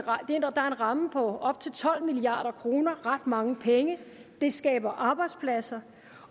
ramme på op til tolv milliard kroner ret mange penge det skaber arbejdspladser